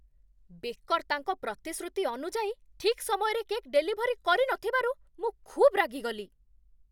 Becker ତାଙ୍କ ପ୍ରତିଶୃତି ଅନୁଯାୟୀ ଠିକ୍ ସମୟରେ କେକ୍ ଡେଲିଭରି କରିନଥିବାରୁ ମୁଁ ଖୁବ୍ ରାଗିଗଲି।